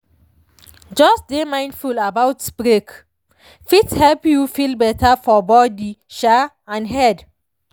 just dey mindful about break fit help you feel better for body um and head.